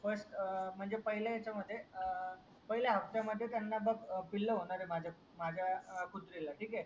FIRST म्हणजे पहिल्या याच्या मध्ये अं पहिल्या हप्त्या मध्ये त्यांना बघ पिल होणार आहे माझ्या माझ्या कुत्री ला ठीक आहे